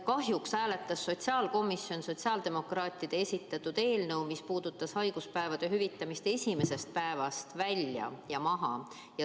Kahjuks hääletas sotsiaalkomisjon sotsiaaldemokraatide esitatud eelnõu, mis puudutas haiguspäevade hüvitamist esimesest päevast, maha.